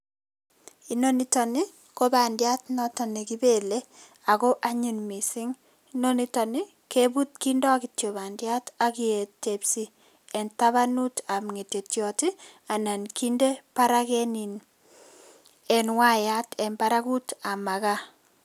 Inoni nitokni ko bandiat noto nekibelei ako anyiny mising. Inoni nitoni kebut kindoi kityo bandiat aketepsi eng tabanutab ngetetyot anan kinde barak eng waayat eng barakutab makaa.